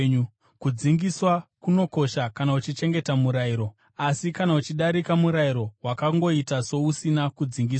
Kudzingiswa kunokosha kana uchichengeta murayiro, asi kana uchidarika murayiro, wakangoita sousina kudzingiswa.